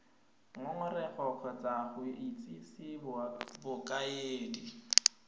ngongorego kgotsa go itsise bokaedi